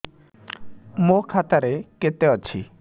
ମୋ ଖାତା ରେ କେତେ ଅଛି